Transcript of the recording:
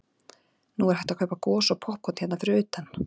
Nú er hægt að kaupa gos og poppkorn hérna fyrir utan.